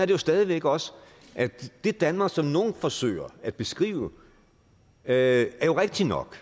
jo stadig væk også det danmark som nogen forsøger at beskrive er jo rigtigt nok